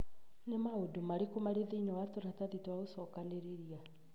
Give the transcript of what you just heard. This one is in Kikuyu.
Nĩ maũndũ marĩkũ marĩ thĩinĩ wa tũratathi twa gucokanĩrĩria